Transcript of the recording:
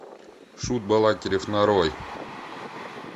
шут балакирев нарой